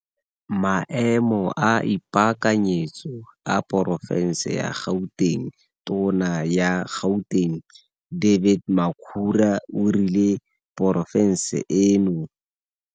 Maemo a ipaakanyetso a porofense ya Gauteng. Tona ya Gauteng David Makhura o rile porofense eno.